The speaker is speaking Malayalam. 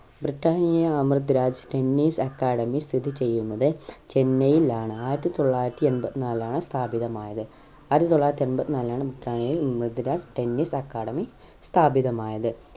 Britannia Amrit Raj tennis academy സ്ഥിതി ചെയ്യുന്നത് ചെന്നൈയിലാണ് ആയിരത്തി തൊള്ളായിരത്തി എൺപത്തി നാലിലാണ്‌ സ്ഥാപിതമായത് ആയിരത്തി തൊള്ളായിരത്തി എൺപത്തി നാലിൽ ആണ് Britannia Amrit Raj tennis academy സ്ഥാപിതമായത്